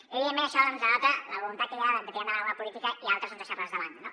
i evidentment això denota la voluntat que hi ha de tirar endavant alguna política i altres doncs deixar les de banda